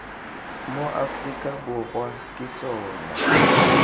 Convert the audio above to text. mo aforika borwa ke tsona